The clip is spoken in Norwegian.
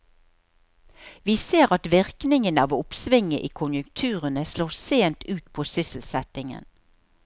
Vi ser at virkningene av oppsvinget i konjunkturene slår sent ut på sysselsettingen.